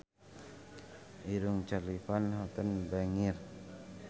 Irungna Charly Van Houten bangir